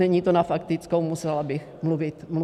Není to na faktickou, musela bych mluvit déle.